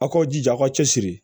Aw k'aw jija a ka cɛsiri